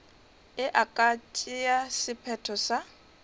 e ka tšea sephetho sa